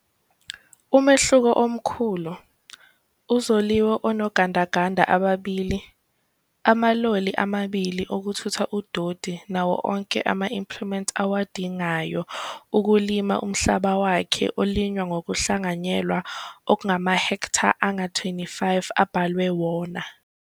Umehluko omkhulu, uZoliwe unogandaganda ababili, amaloli amabili okuthutha udoti nawo onke ama-impliment awadingayo okulima umhlaba wakhe olinywa ngokuhlanganyela ongama-hektha angama-25 abelwe wona.